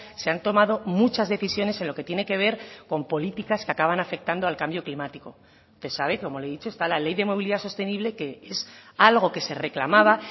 se han tomado muchas decisiones en lo que tiene que ver con políticas que acaban afectando al cambio climático que sabe como le he dicho está la ley de movilidad sostenible que es algo que se reclamaba